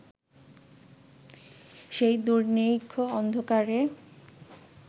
সেই দূর্নিরিক্ষ অন্ধকারে